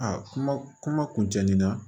A kuma kuma kun cɛ nin na